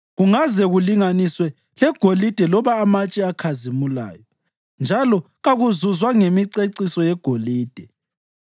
Kungazake kulinganiswe legolide loba amatshe akhazimulayo, njalo kakuzuzwa ngemiceciso yegolide.